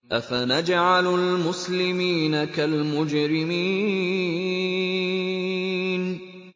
أَفَنَجْعَلُ الْمُسْلِمِينَ كَالْمُجْرِمِينَ